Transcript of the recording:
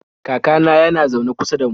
Kakana yana zaune kusa da mu.